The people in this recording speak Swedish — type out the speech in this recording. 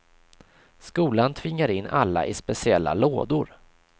Skolan tvingar in alla i speciella lådor.